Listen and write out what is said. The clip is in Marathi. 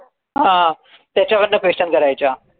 हां त्याच्यावरन question करायच्या